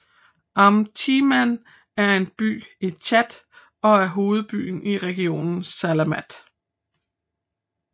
Am Timan er en by i Tchad og er hovedbyen i regionen Salamat